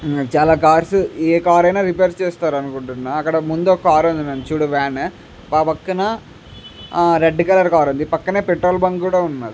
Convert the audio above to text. చాల కార్స్ ఆ కార్స్ ఆయన రిపేర్ చేస్తారు అనుకుంటున్నా ముందూ ఒక కార్ వెనుకల ఒక వాన్ పక్కనే రెడ్ కలర్ కార్ వుంది పక్కనే పెట్రోల్ బంక్ కుడా వుంది.